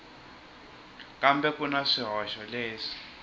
kambe ku na swihoxo leswi